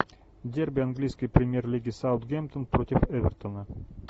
дерби английской премьер лиги саутгемптон против эвертона